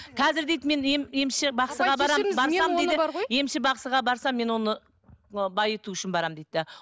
қазір дейді мен емші бақсыға барамын барсам дейді емші бақсыға барсам мен оны мынау байыту үшін барамын дейді де